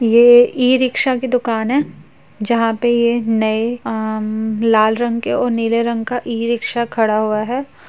ये ई-रिक्शा की दुकान है जहाँ पे ये नए अम्म लाल रंग के और नीले रंग का ई-रिक्शा खड़ा हुआ है।